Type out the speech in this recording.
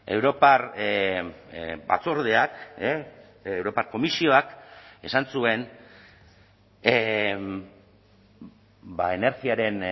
europar batzordeak europar komisioak esan zuen energiaren